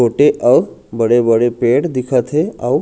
छोटे आऊ बड़े-बड़े पेड़ दिखत हे अउ--